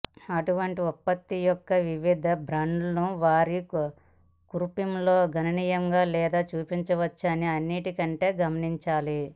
అటువంటి ఉత్పత్తి యొక్క వివిధ బ్రాండ్లు వారి కూర్పులో గణనీయంగా తేడా చూపించవచ్చని అన్నింటికంటే గమనించాలి